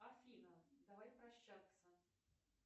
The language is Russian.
афина давай прощаться